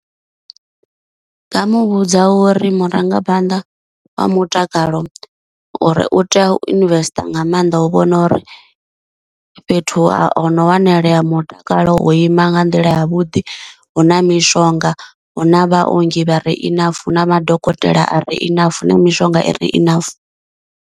Ndi nga muvhudza uri murangaphanḓa wa mutakalo uri u tea u investor nga maanḓa u vhona uri fhethu ha u hono wanalea mutakalo wo ima nga nḓila ya vhuḓi, hu na mishonga, hu na vhaongi vhare enough, na madokotela a ri enough, mishonga i re enough.